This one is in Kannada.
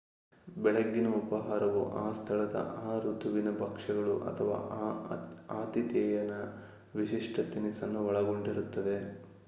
ಬೆಳಗ್ಗಿನ ಉಪಹಾರವು ಆ ಸ್ಥಳದ ಆ ಋತುವಿನ ಭಕ್ಷ್ಯಗಳು ಅಥವಾ ಆ ಆತಿಥೇಯನ ವಿಶಿಷ್ಟ ತಿನಿಸನ್ನು ಒಳಗೊಂಡಿರುತ್ತದೆ